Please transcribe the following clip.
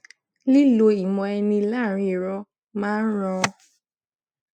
lilo ìmọ eni laaarin iro máa ń ran